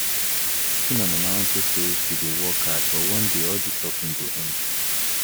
I dey pity my mama unto say she dey work hard but one day all dis suffering go end